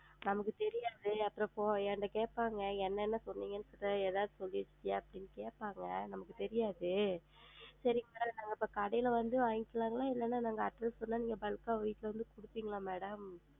நமக்கு தெரியாது அப்றம் போ என்ட்ட கேட்பாங்கள் என்னென்ன சொல்றீங்கன்னு எதாவது சொல்லிருக்கியா அப்டின்னு கேட்பாங்க நமக்கு தெரியாது. செரிங்க நம்ம இப்ப கடையில வந்து வாங்கில்லாம இல்லன்னா நாங்க அப்டியே திருநெல்வேலி bulk ஆ வீட்ல வந்து கொடுபீங்களா madam